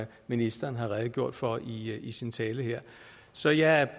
ministeren har redegjort for i i sin tale her så jeg